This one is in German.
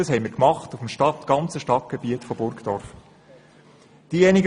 Das haben wir auf dem ganzen Stadtgebiet von Burgdorf so gemacht.